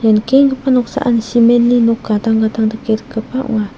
ia nikenggipa noksaan cement-ni nok gadang gadang dake rikgipa ong·a.